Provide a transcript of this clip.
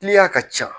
ka ca